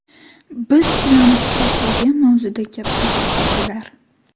Biz bilan xohlagan mavzuda gaplashar edilar.